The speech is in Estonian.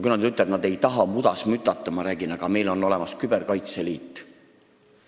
Kui nad on ütelnud, et nad ei taha mudas mütata, siis ma olen rääkinud, et meil on ju olemas küberkaitse liit.